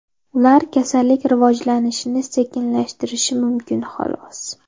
Ular kasallik rivojlanishini sekinlashtirishi mumkin, xolos.